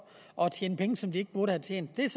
og tjene penge som de ikke burde have tjent det er